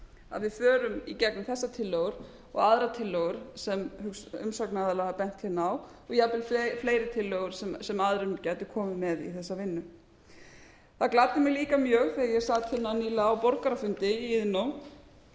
að við förum í gegnum þessar tillögur og aðrar tillögur sem umsagnaraðilar hafa bent hérna á og jafnvel fleiri tillögur sem aðrir gætu komið með í þessa vinnu það gladdi mig líka mjög þegar ég sat hérna nýlega á borgarafundi í iðnó